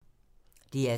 DR2